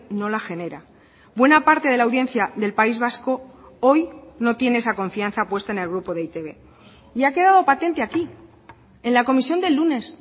no la genera buena parte de la audiencia del país vasco hoy no tiene esa confianza puesta en el grupo de e i te be y ha quedado patente aquí en la comisión del lunes